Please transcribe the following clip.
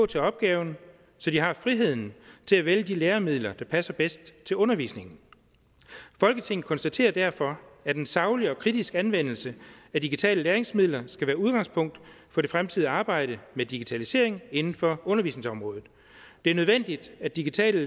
til opgaven så de har friheden til at vælge de læremidler der passer bedst til undervisningen folketinget konstaterer derfor at en saglig og kritisk anvendelse af digitale læringsmidler skal være udgangspunkt for det fremtidige arbejde med digitalisering inden for undervisningsområdet det er nødvendigt at digitale